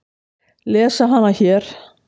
Lesa hana hér.